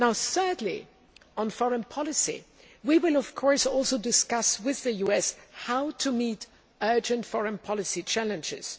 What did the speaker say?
Thirdly, on foreign policy, we will, of course, also discuss with the US how to meet urgent foreign policy challenges.